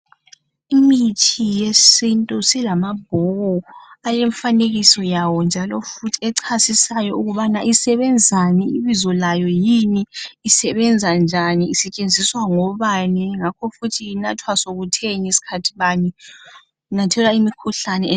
Imithi yesintu silamabhuku alemfanekiso yawo njalo futhi echasisayo ukubana isebenzani ,ibizo layo yini ,isebenza njani isetshenziswa ngobani ngakho futhi inathwa sokutheni ,skhathi bani inathelwa imikhuhlane enjani.